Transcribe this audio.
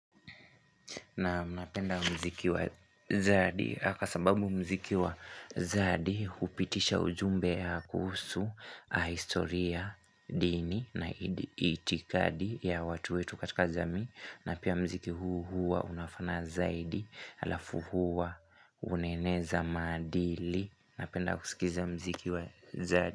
Naam napenda mziki wa zadi Haka sababu mziki wa zadi Hupitisha ujumbe ya kuhusu historia, dini na itikadi ya watu wetu katika jamii na pia mziki huu hua unafana zaidi Alafu hua unaeneza maadili Napenda kusikiza mziki wa zadi.